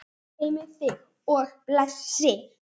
Guð geymi þig og blessi.